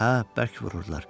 Hə, bərk vururdular.